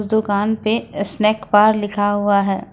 दुकान पे snack bar लिखा हुआ है।